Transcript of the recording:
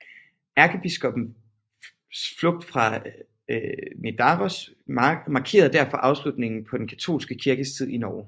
Ærkebiskoppens flugt fra Nidaros markerede derfor afslutningen på den katolske kirkes tid i Norge